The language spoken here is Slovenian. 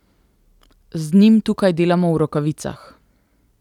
Z njim tukaj delamo v rokavicah.